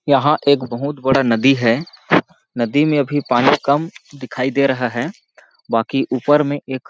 यहाँ एक बहुत बड़ा नदी है नदी में अभी पानी कम दिखाई दे रहा है बाकि ऊपर में एक --